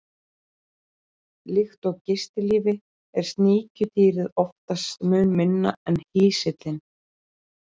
Líkt og í gistilífi er sníkjudýrið oftast mun minna en hýsillinn.